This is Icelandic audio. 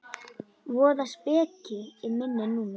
Voða speki í minni núna.